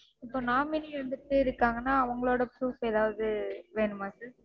இப்போ nominee ரெண்டு பேர் இருக்காங்கனா அவங்களோட proof எதாவது வேணுமா sir?